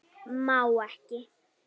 Má ekki.